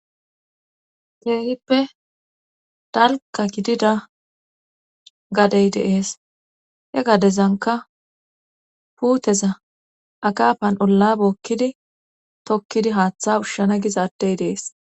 teehippe dalka gidida gadey deees he gadezanka puuteza akaafan olla bookkidi tokkidi haaththa ushshana gizaadey dees